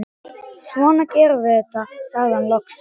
Svona gerum við þetta, sagði hann loks.